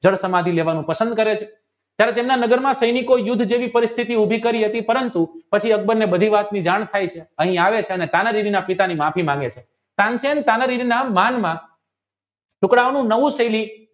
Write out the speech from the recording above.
જળ સમાધિ લેવાનું પસંદ કરે છે ત્યારે તેમના નગરમાં સૈનિકો યુદ્ધ જેવી પરિસ્થિતિ ઉભી કરી હતી પરંતું પછી અકબર ને બધી વાત ની જાણ થાય છે અને આવી તાનારીવિના પિતાજી સામે માફી માંગે છે તાનસેન તાનારીવિના મનમાં છોકરાઓનું નવું સેલી